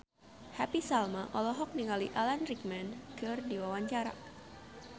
Happy Salma olohok ningali Alan Rickman keur diwawancara